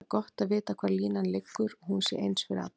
Það er gott að vita hvar línan liggur og hún sé eins fyrir alla.